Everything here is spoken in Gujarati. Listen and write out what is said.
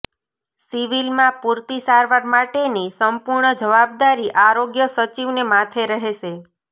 સિવિલમાં પૂરતી સારવાર માટેની સંપૂર્ણ જવાબદારી આરોગ્ય સચિવને માથે રહેશે